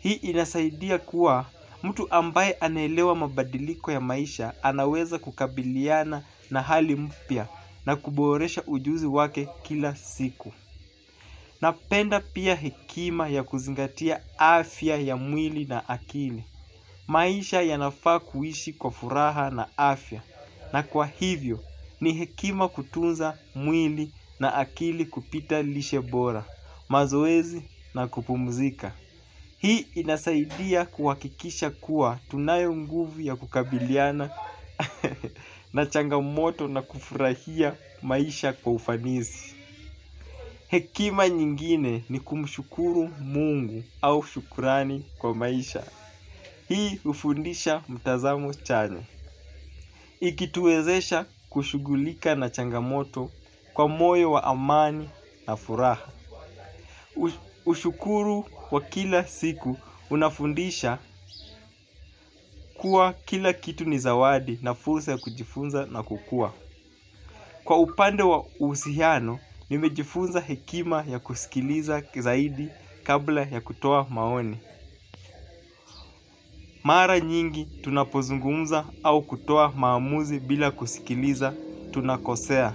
Hii inasaidia kuwa mtu ambaye anaelewa mabadiliko ya maisha anaweza kukabiliana na hali mpya na kuboresha ujuzi wake kila siku. Napenda pia hekima ya kuzingatia afya ya mwili na akili. Maisha yanafaa kuishi kwa furaha na afya na kwa hivyo ni hekima kutunza mwili na akili kupita lishe bora, mazoezi na kupumzika. Hii inasaidia kuwakikisha kuwa tunayo nguvu ya kukabiliana na changamoto na kufurahia maisha kwa ufanisi. Hekima nyingine ni kumshukuru mungu au shukurani kwa maisha. Hii ufundisha mtazamo chanya ikituwezesha kushugulika na changamoto kwa moyo wa amani na furaha. Ushukuru wa kila siku unafundisha kuwa kila kitu nizawadi na fulsa ya kujifunza na kukua. Kwa upande wa uhusiano nimejifunza hekima ya kusikiliza zaidi kabla ya kutoa maoni. Mara nyingi tunapozungumza au kutoa maamuzi bila kusikiliza tunakosea.